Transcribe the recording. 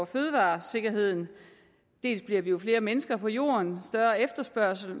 fødevaresikkerheden vi bliver jo flere mennesker på jorden større efterspørgsel